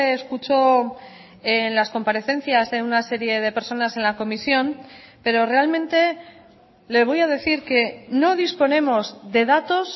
escuchó en las comparecencias de una serie de personas en la comisión pero realmente le voy a decir que no disponemos de datos